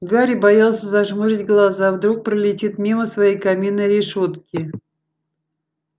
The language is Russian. гарри боялся зажмурить глаза вдруг пролетит мимо своей каминной решётки